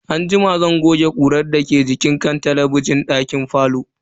Anjima zan goge ƙurar da ke jikin kan talabijin din dake falo.